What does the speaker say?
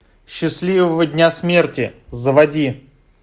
счастливого дня смерти заводи